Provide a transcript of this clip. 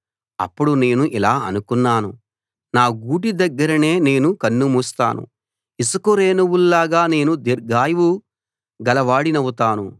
అప్పుడు నేను ఇలా అనుకున్నాను నా గూటి దగ్గరనే నేను కన్ను మూస్తాను ఇసుక రేణువుల్లాగా నేను దీర్ఘాయువు గలవాడినౌతాను